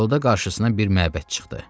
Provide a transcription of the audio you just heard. Yolda qarşısına bir məbəd çıxdı.